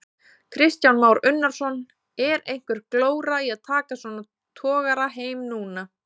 Kristján Már Unnarsson: Er einhver glóra í að taka svona togara heim núna?